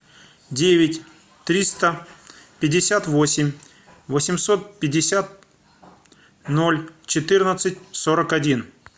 девять триста пятьдесят восемь восемьсот пятьдесят ноль четырнадцать сорок один